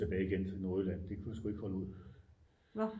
Tilbage igen til Nordjylland det kunne jeg sgu ikke holde ud